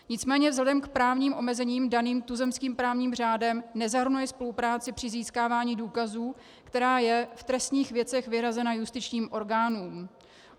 Nicméně vzhledem k právním omezením daným tuzemským právním řádem nezahrnuje spolupráci při získávání důkazů, která je v trestních věcech vyhrazena justičním orgánům.